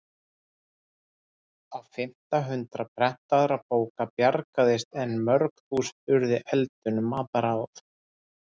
Á fimmta hundrað prentaðra bóka bjargaðist en mörg þúsund urðu eldinum að bráð.